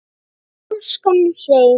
Og pólskan hreim.